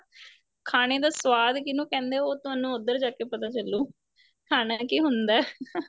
ਖਾਣੇ ਦਾ ਸਵਾਦ ਕਿੰਨੂ ਕਹਿੰਦੇ ਉਹ ਤੁਹਾਨੂੰ ਉੱਧਰ ਜਾ ਕੇ ਪਤਾ ਚਲੂ ਖਾਣਾ ਕੀ ਹੁੰਦਾ